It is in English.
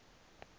ensuing tour dates